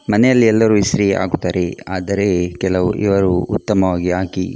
ಮನೆಯಲ್ಲಿ ಎಲ್ಲರು ಇಸ್ತ್ರಿ ಹಾಕುತ್ತಾರೆ ಆದರೆ ಕೆಲವು ಇವರು ಉತ್ತಮವಾಗಿ ಹಾಕಿ --